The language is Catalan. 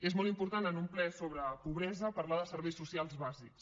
és molt important en un ple sobre pobresa parlar de serveis socials bàsics